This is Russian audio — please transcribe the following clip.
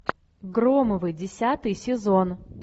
громовы десятый сезон